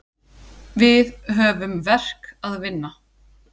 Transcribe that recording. Við höfum verk að vinna.